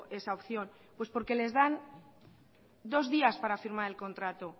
esa opción pues porque les dan dos días para firmar el contrato